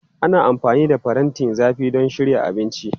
Ana amfani da farantin zafi don shirya abinci.